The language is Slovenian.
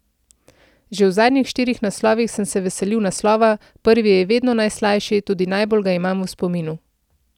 Že v zadnjih štirih naslovih sem se veselil naslova, prvi je vedno najslajši, tudi najbolj ga imam v spominu.